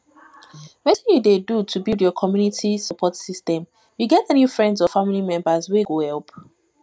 wetin you dey do to build your community support system you get any friends or family members wey go help